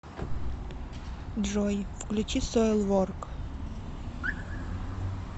джой включи соилворк